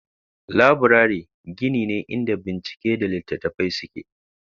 Laburare gini ne inda bincike da littattafai suke.